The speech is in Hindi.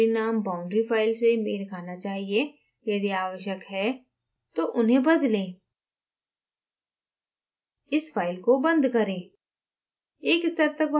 ध्यान दें boundary names boundary file से मेल खाना चाहिए यदि आवश्यक हो तो उन्हें बदलें इस file को बंद करें